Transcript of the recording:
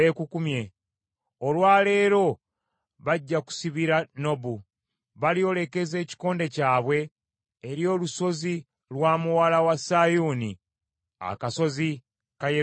Olwa leero bajja kusibira Nobu, balyolekeza ekikonde kyabwe eri olusozi lwa Muwala wa Sayuuni, akasozi ka Yerusaalemi.